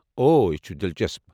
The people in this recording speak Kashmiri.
اوہ ، یہِ چھٗ دِلچسپ۔